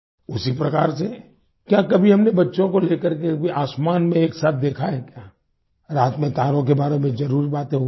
उसी प्रकार से क्या कभी हमने बच्चों को लेकर के भी आसमान में एक साथ देखा है क्या रात में तारों के बारे में भी जरुर बातें हुई हों